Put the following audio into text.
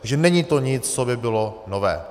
Takže není to nic, co by bylo nové.